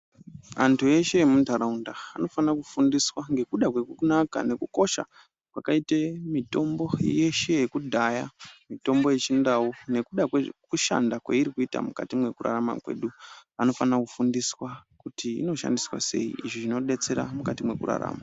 Vantu veshe vemuntaraunda vanofanira kufundiswa ngekuda kwekunaka nekukosha kwakaite mitombo yeshe yekudhaya. Mitombo yechintau nekuda kwekushanda kwairi kuita mwukati mwekurarama kwedu vanofanira kufundiswa kuti inoshandiswa sei, izvi zvinodetsera mukati mwekurarama.